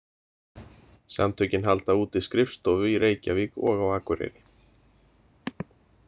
Samtökin halda úti skrifstofu í Reykjavík og á Akureyri.